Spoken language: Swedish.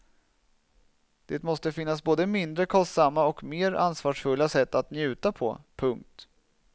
Det måste finnas både mindre kostsamma och mer ansvarsfulla sätt att njuta på. punkt